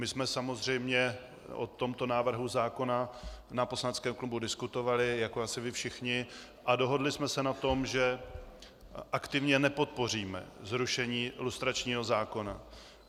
My jsme samozřejmě o tomto návrhu zákona na poslaneckém klubu diskutovali jako asi vy všichni a dohodli jsme se na tom, že aktivně nepodpoříme zrušení lustračního zákona.